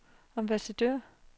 ambassadør